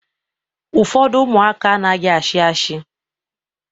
Ụfọdụ ụmụaka anaghị ashi ashi